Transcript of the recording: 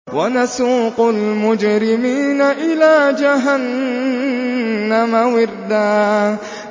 وَنَسُوقُ الْمُجْرِمِينَ إِلَىٰ جَهَنَّمَ وِرْدًا